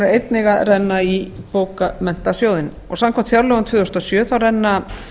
einnig að renna í bókmenntasjóðinn og samkvæmt fjárlögum tvö þúsund og sjö renna